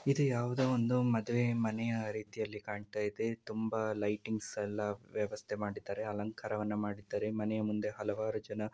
ಇದು ಯಾವುದೋ ಒಂದು ಮದುವೆ ಮನೆಯ ರೀತಿಯಲ್ಲಿ ಕಾಣ್ತಾ ಇದೆ. ತುಂಬಾ ಲೈಟಿಂಗ್ಸ್‌ ಎಲ್ಲಾ ವ್ಯವಸ್ಥೆ ಮಾಡಿದ್ದಾರೆ ಅಲಂಕಾರವನ್ನು ಮಾಡಿದ್ದಾರೆ ಮನೆಯ ಮುಂದೆ ಹಲವಾರು ಜನ--